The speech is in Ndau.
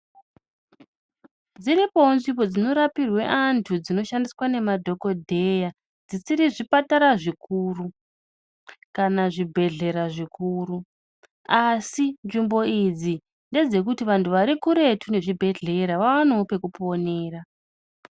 Dziripowo nzvimbo dzinorapirwe antu dzinoshandiswa ngemadhokodheya dzisiri zvipatara zvikuru kana zvibhedhlera zvikuru. Asi nzvimbo idzi ndedzekuti vantu vari kuretu nezvibhedhlera vaonewo kwekuponera.